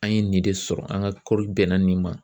An ye nin de sɔrɔ an ka kɔɔri bɛnna nin ma.